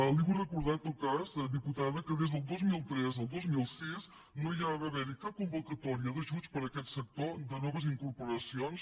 li vull recordar en tot cas diputada que des del dos mil tres al dos mil sis no va haver hi cap convocatòria d’ajuts per a aquest sector de noves incorporacions